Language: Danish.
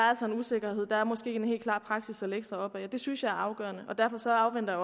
er en usikkerhed og at der måske ikke er en helt klar praksis at lægge sig op ad det synes jeg er afgørende og derfor afventer